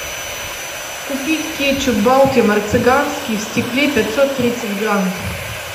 купить кетчуп балтимор цыганский в стекле пятьсот тридцать грамм